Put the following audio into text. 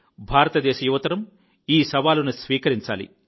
భారతదేశ యువ తరం ఈ సవాలును స్వీకరించాలి